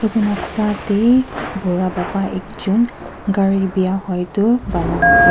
etu noksa dae bura baba ekjun kari biya hoitu bona asae.